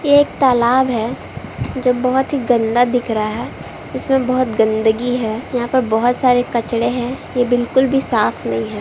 ये एक तालाब है जो बहुत ही गंदा दिख रहा है इसमे बहुत गंदगी है यहां पर बहुत सारे कचरे है ये बिलकुल भी साफ नही है।